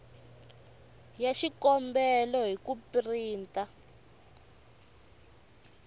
ya xikombelo hi ku printa